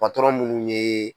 Patɔrɔn munnu ye.